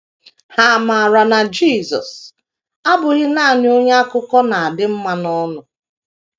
Ha maara na Jisọs abụghị nanị onye akụkọ na - adị mma n’ọnụ.